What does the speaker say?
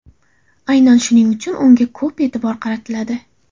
Aynan shuning uchun unga ko‘p e’tibor qaratiladi.